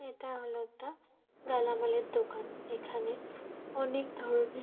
এটা হলো একটা দোকান। এখানে অনেক ধরনের--